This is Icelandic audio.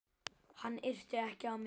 Hann yrti ekki á mig.